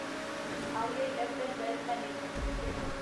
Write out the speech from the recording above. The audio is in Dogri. IIFL wealth management limited